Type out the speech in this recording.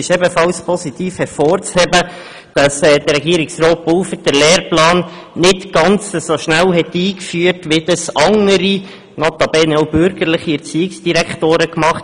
Ebenfalls positiv hervorzuheben ist, dass Herr Regierungsrat Pulver den Lehrplan nicht ganz so schnell eingeführt hat, wie dies andere – notabene auch bürgerliche – Erziehungsdirektoren taten.